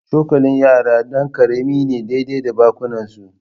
Cokalin yara ɗan karami ne daidai da bakunansu